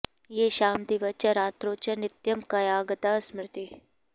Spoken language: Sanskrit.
येषां दिवा च रात्रौ च नित्यं कायगता स्मृतिः